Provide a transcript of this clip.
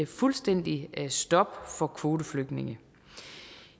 fuldstændigt stop for kvoteflygtninge